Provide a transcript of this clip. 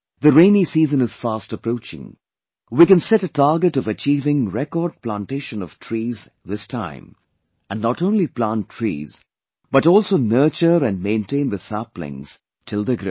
The rainy season is fast approaching; we can set a target of achieving record plantation of trees this time and not only plant trees but also nurture and maintain the saplings till they grow